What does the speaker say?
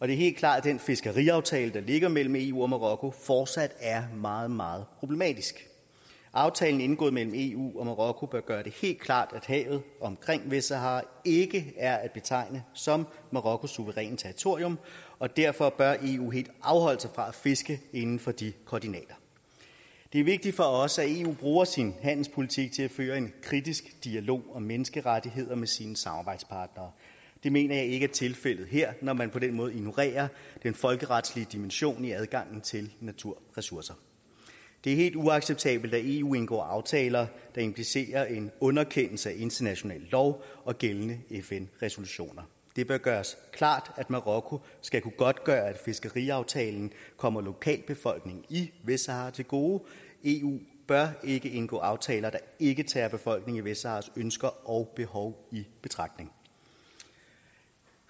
helt klart at den fiskeriaftale der ligger mellem eu og marokko fortsat er meget meget problematisk aftalen indgået mellem eu og marokko bør gøre det helt klart at havet omkring vestsahara ikke er at betegne som marokkos suveræne territorium og derfor bør eu helt afholde sig fra at fiske inden for de koordinater det er vigtigt for os at eu bruger sin handelspolitik til at føre en kritisk dialog om menneskerettigheder med sine samarbejdspartnere det mener jeg ikke er tilfældet her når man på den måde ignorerer den folkeretlige dimension i adgangen til naturressourcer det er helt uacceptabelt at eu indgår aftaler der implicerer en underkendelse af international lov og gældende fn resolutioner det bør gøres klart at marokko skal kunne godtgøre at fiskeriaftalen kommer lokalbefolkningen i vestsahara til gode eu bør ikke indgå aftaler der ikke tager befolkningen i vestsaharas ønsker og behov i betragtning